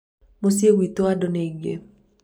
mũciĩ gwitũ andũ nĩ aingĩ